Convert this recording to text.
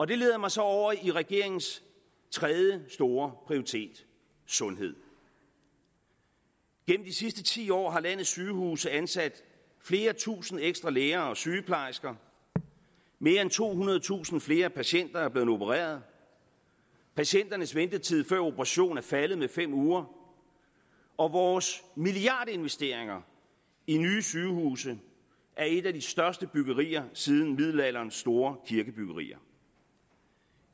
det leder mig så over i regeringens tredje store prioritet sundhed gennem de sidste ti år har landets sygehuse ansat flere tusind ekstra læger og sygeplejersker mere end tohundredetusind flere patienter er blevet opereret patienternes ventetid før en operation er faldet med fem uger og vores milliardinvesteringer i nye sygehuse er et af de største byggerier siden middelalderens store kirkebyggerier